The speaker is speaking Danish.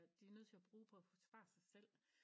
De er nødt til at bruge på at forsvare sig selv